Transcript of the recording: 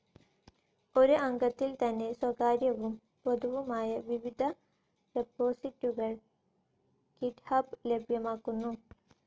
ഒരു അംഗത്വത്തിൽതന്നെ സ്വകാര്യവും പൊതുവുമായ വിവിധ റെപ്പോസിറ്ററികൾ ഗിറ്റ്ഹബ് ലഭ്യമാക്കുന്നു.